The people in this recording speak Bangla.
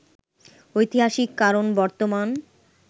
ঐতিহাসিক কারণ বর্তমান